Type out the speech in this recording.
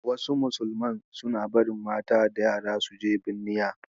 Wasu musulman suna barin mata da yara su je binniya.